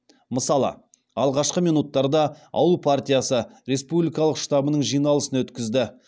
мысалы алғашқы минуттарда ауыл партиясы республикалық штабының жиналысын өткізді